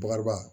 Bakariba